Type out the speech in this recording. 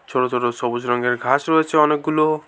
ছোট ছোট সবুজ রঙ্গের ঘাস রয়েছে অনেকগুলো।